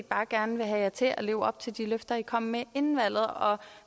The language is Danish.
bare gerne vil have jer til at leve op til de løfter i kom med inden valget og